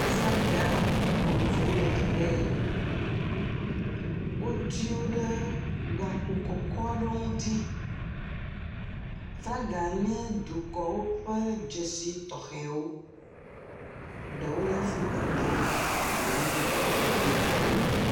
Aflaga vovovovowo le teƒe ye, wotsi wo ɖe gakpo kɔkɔ aɖewo ŋuti, flaga nye dukɔwo ƒe dzesi tɔxɛwo. Ɖewo nye Afrikatɔwo, eɖewo hã nye dukɔ bubumetɔwo.